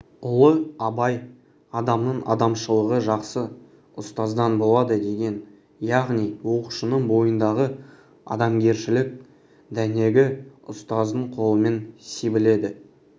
ұлы абай адамның адамшылығы жақсы ұстаздан болады деген яғни оқушының бойындағы адамгершілік дәнегі ұстаздың қолымен себіледі